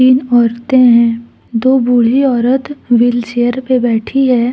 औरतें हैं दो बूढी औरत व्हीलचेयर पे बैठी है।